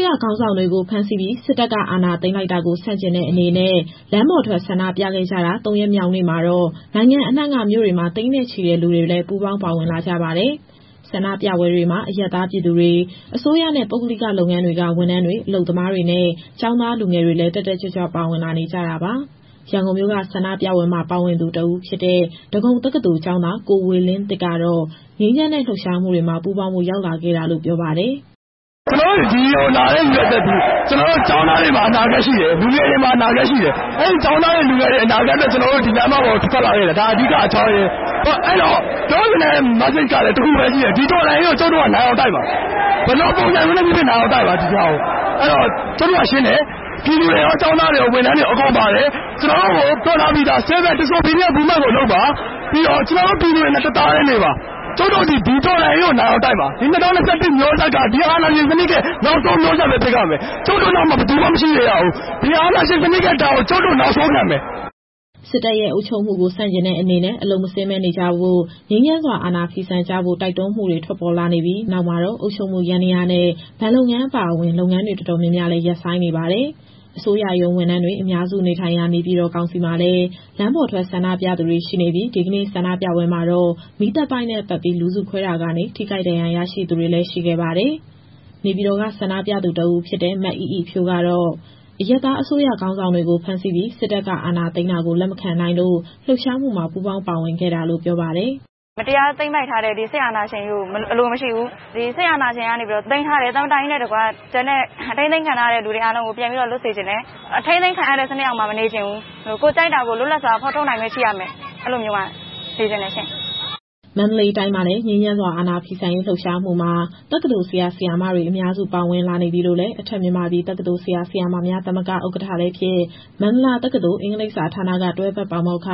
းရ ခေါင်းဆောင်တွေကို ဖမ်းဆီးပြီး စစ်တပ်က အာဏာသိမ်းလိုက်တာကို ဆန့်ကျင်တဲ့အနေနဲ့ လမ်းပေါ်ထွက် ဆန္ဒပြခဲ့ကြတာ ၃ ရက်မြောက်နေ့မှာတော့ နိုင်ငံအနှံ့က မြို့တွေမှာ သိန်းနဲ့ချီတဲ့ လူတွေလည်း ပူးပေါင်းပါဝင်လာကြပါတယ်။ ဆန္ဒပြပွဲတွေမှာတော့ အရပ်သားပြည်သူတွေ၊ အစိုးရနဲ့ ပုဂ္ဂလိက လုပ်ငန်းတွေက ဝန်ထမ်းတွေ၊ အလုပ်သမားတွေနဲ့ ကျောင်းသားလူငယ်တွေလည်း တက်တက်ကြွကြွ ပါဝင်လာနေကြတာပါ။ ရန်ကုန်မြို့က ဆန္ဒပြပွဲမှာ ပါဝင်သူတဦးဖြစ်တဲ့ ဒဂုံတက္ကသိုလ်ကျောင်းသား ကိုဝေလင်းသစ်ကတော့ ငြိမ်းချမ်းတဲ့ လှုပ်ရှားမှုတွေမှာ ပူးပေါင်းဖို့ ရောက်လာခဲ့တာလို့ ပြောပါတယ်။ "ကျနော်တို့ ဒီကိုလာတဲ့ ရည်ရွယ်ချက်သည် ကျနော်တို့ ကျောင်းသားတွေမှာ အနာဂတ်ရှိတယ်၊ လူငယ်တွေမှာ အနာဂတ်ရှိတယ်။ အဲဒီ ကျောင်းသားတွေ၊ လူငယ်တွေရဲ့ အနာဂတ်အတွက် ကျနော်တို့ ဒီလမ်းမပေါ်ကို ထွက်လာခဲ့တယ်။ ဒါအဓိကအကြောင်းရင်း။ အဲဒီတော့ ပြောချင်တဲ့ Message ကလည်း တခုပဲရှိတယ်။ ဒီတော်လှန်ရေးကို ကျုပ်တို့ကနိုင်အောင်တိုက်မှာ။ ဘယ်လိုပုံစံမျိုးနဲ့ဖြစ်ဖြစ် နိုင်အောင်တိုက်မှာ။ အဲဒီတော့ ကျုပ်တို့ကရှင်းတယ်။ ပြည်သူတွေရော၊ ကျောင်းသားတွေရော၊ ဝန်ထမ်းတွေရော အကုန်ပါတယ်။ ကျနော်တို့ကို ပြောထားပြီးသား Civil Disobedience Movement ကိုလုပ်ပါ။ ပြီးတော့ ကျနော်တို့ပြည်သူတွေနဲ့ တသားတည်းနေပါ။ ကျုပ်တို့သည် ဒီတော်လှန်ရေးကို နိုင်အောင်တိုက်မှာ။ ဒီ ၂၀၂၁ မျိုးဆက်က ဒီအာဏာရှင်စနစ်ရဲ့ နောက်ဆုံးမျိုးဆက်ပဲ ဖြစ်ရမယ်။ ကျုပ်တို့နောက်မှာ ဘယ်သူမှ မရှိစေရဘူး။ ဒီအာဏာရှင်စနစ်ရဲ့ ဒဏ်ကို ကျုပ်တို့နောက်ဆုံးခံမယ်။" စစ်တပ်ရဲ့ အုပ်ချုပ်မှုကို ဆန့်ကျင်တဲ့အနေနဲ့ အလုပ်မဆင်းဘဲ နေကြဖို့ ငြိမ်းချမ်းစွာ အာဏာဖီဆန်ကြဖို့ တိုက်တွန်းမှုတွေ ထွက်ပေါ်လာခဲ့ပြီး နောက်မှာတော့ အုပ်ချုပ်မှု ယန္တရားနဲ့ ဘဏ်လုပ်ငန်း အပါအဝင် လုပ်ငန်းတွေ တော်တော်များများလည်း ရပ်ဆိုင်းနေပါတယ်။ အစိုးရရုံးဝန်ထမ်းတွေ အများစုနေထိုင်ရာ နေပြည်တော်ကောင်စီမှာလည်း လမ်းပေါ်ထွက်ဆန္ဒပြသူတွေ ရှိနေပြီး ဒီကနေ့ ဆန္ဒပြပွဲမှာတော့ မီးသတ်ပိုက်နဲ့ပက်ပြီး လူစုခွဲတာကနေ ထိခိုက်ဒဏ်ရာရသူတွေလည်း ရှိခဲ့ပါတယ်။ နေပြည်တော်က ဆန္ဒပြသူတဦးဖြစ်တဲ့ မအိအိဖြိုးကတော့ အရပ်သားအစိုးရ ခေါင်းဆောင်တွေကို ဖမ်းဆီးပြီး စစ်တပ်က အာဏာသိမ်းတာကို လက်မခံနိုင်လို့ လှုပ်ရှားမှုမှာ ပူးပေါင်းပါဝင်ခဲ့တာလို့ ပြောပါတယ်။ "မတရားသိမ်းပိုက်ထားတဲ့ ဒီစစ်အာဏာရှင်ကြီးကို အလိုမရှိဘူး။ ဒီစစ်အာဏာရှင်ကနေပြီးတော့ သိမ်းထားတဲ့ သမ္မတကြီးနဲ့တကွ ကျန်တဲ့ ထိန်းသိမ်းခံထားရတဲ့သူတွေ အားလုံးကို ပြန်ပြီးတော့ လွတ်စေချင်တယ်။ အထိန်းသိမ်းခံရတဲ့ စနစ်အောက်မှာ မနေချင်ဘူး။ ကိုယ်ကြိုက်တာကို လွတ်လပ်စွာဖော်ထုတ်နိုင်ခွင့် ရှိရမယ်။ အဲဒီလိုမျိုးမှာ နေချင်တယ်ရှင့်။" မန္တလေးတိုင်းမှာလည်း ငြိမ်းချမ်းစွာ အာဏာဖီဆန်ရေး လှုပ်ရှားမှုမှာ တက္ကသိုလ်ဆရာ၊ ဆရာမတွေ အများစု ပါဝင်လာနေပြီလို့လည်း အထက်မြန်မာပြည်တက္ကသိုလ် ဆရာ၊ ဆရာမများသမဂ္ဂ ဥက္ကဋ္ဌလည်းဖြစ် မန္တလာတက္ကသိုလ်၊ အင်္ဂလိပ်စာဌာနက တွဲဖက်ပါမောက္ခ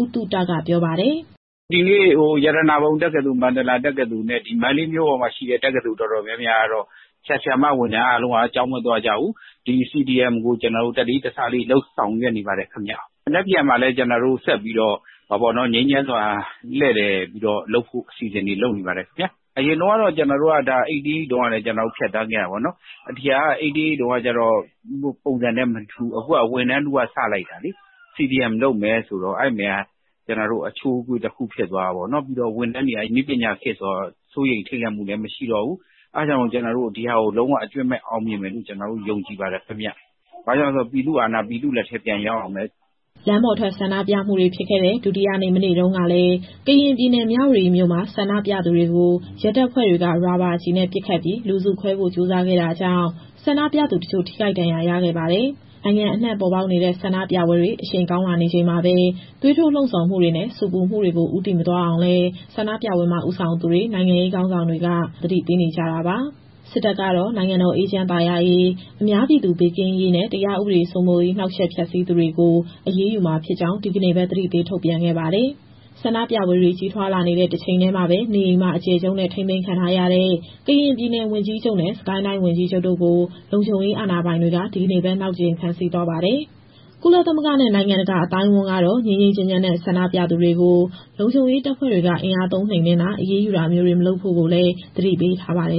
ဦးသုတကပြောပါတယ်။ "ဒီနေ့ ရတနာပုံတက္ကသိုလ်၊ မန္တလာတက္ကသိုလ်နဲ့ ဒီမန္တလေးမြို့ပေါ်မှာရှိတဲ့ တက္ကသိုလ်တော်တော်များများကတော့ ဆရာ၊ ဆရာမ ဝန်ထမ်းအားလုံးက ကျောင်းမသွားကြဘူး။ ဒီ CDM ကို တလေးတစားလေး ဆောင်ရွက်နေပါတယ်ခင်ဗျ။ မနက်ဖြန်မှာလည်း ကျနော်တို့ဆက်ပြီးတော့ ငြိမ်းချမ်းစွာ လှည့်လည်ပြီးတော့လုပ်ဖို့ အစီအစဉ်တွေလုပ်နေပါတယ်။ အရင်တုန်းကတော့ ကျနော်တို့က ၈၈ တုန်းကလည်း ဖြတ်သန်းခဲ့ရတာပေါ့နော်။ ဒီဟာက ၈၈ တုန်းက ပုံစံနဲ့မတူဘူး။ အခုဟာက ဝန်ထမ်းထုက စလိုက်တာလေ။ CDM လုပ်မယ်ဆိုတော့ အဲဒီမှာ အချိုးအကွေ့တခု ဖြစ်သွားတာပေါ့နော်။ ပြီးတော့ ဝန်ထမ်းတွေက နည်းပညာခေတ်ဆိုတော့ စိုးရိမ်ထိတ်လန့်မှုလည်း မရှိတော့ဘူး။ အဲဒါကြောင့် ကျနော်တို့ကတော့ ဒီဟာကို လုံးဝအကြွင်းမဲ့ အောင်မြင်မယ်လို့ ယုံကြည်ပါတယ်ခင်ဗျ။ ဘာကြောင့်လဲဆိုတော့ ပြည်သူ့အာဏာက ပြည်သူ့လက်ထဲ ပြန်ရောက်ရမယ်။" လမ်းပေါ်ထွက် ဆန္ဒပြပွဲတွေဖြစ်ခဲ့တဲ့ ဒုတိယနေ့ မနေ့တုန်းကလည်း ကရင်ပြည်နယ်၊ မြဝတီမြို့မှာ ဆန္ဒပြသူတွေကို ရဲတပ်ဖွဲ့တွေက ရာဘာကျည်နဲ့ပစ်ခတ်ပြီး လူစုခွဲဖို့ကြိုးစားခဲ့တာကြောင့် ဆန္ဒပြသူတချို့ ထိခိုက်ဒဏ်ရာရခဲ့ပါတယ်။ နိုင်ငံအနှံ့ပေါ်ပေါက်နေတဲ့ ဆန္ဒပြပွဲတွေ အရှိန်ကောင်းလာနေချိန်မှာပဲ သွေးထိုးလှုံ့ဆော်မှုတွေနဲ့ ဆူပူမှုတွေကို ဦးတည်မသွားအောင်လည်း ဆန္ဒပြပွဲမှာ ဦးဆောင်သူတွေ၊ နိုင်ငံရေး ခေါင်းဆောင်တွေက သတိပေးနေကြတာပါ။ စစ်တပ်ကတော့ နိုင်ငံတော် အေးချမ်းသာယာရေး၊ အများပြည်သူ ဘေးကင်းရေးနဲ့ တရားဥပဒေ စိုးမိုးရေး နှောက်ယှက်ဖျက်ဆီးသူတွေကို အရေးယူမှာဖြစ်ကြောင်း ဒီကနေ့ပဲ သတိပေးချက် ထုတ်ပြန်ခဲ့ပါတယ်။ ဆန္ဒပြပွဲတွေ ကြီးထွားလာနေတဲ့ တချိန်တည်းမှာပဲ နေအိမ်မှာအကျယ်ချုပ်နဲ့ ထိန်းသိမ်းခံထားရတဲ့ ကရင်ပြည်နယ်ဝန်ကြီးချုပ်နဲ့ စစ်ကိုင်းတိုင်းဝန်ကြီးချုပ်တို့ကို လုံခြုံရေးအာဏာပိုင်တွေက ဒီကနေ့ပဲ နောက်တကြိမ် ဖမ်းဆီးသွားပါတယ်။ ကုလသမဂ္ဂနဲ့ နိုင်ငံတကာ အသိုင်းအဝန်းကတော့ ငြိမ်းငြိမ်းချမ်းချမ်းနဲ့ ဆန္ဒပြသူတွေကို လုံခြုံရေးတပ်ဖွဲ့တွေက အင်အားသုံး နှိမ်နင်းတာ အရေးယူတာမျိုးတွေ မလုပ်ဖု့ိလည်း သတိပေးထားပါတယ်